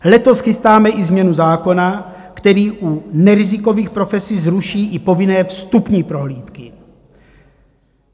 Letos chystáme i změnu zákona, který u nerizikových profesí zruší i povinné vstupní prohlídky.